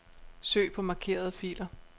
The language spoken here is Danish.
Søg på markerede filer.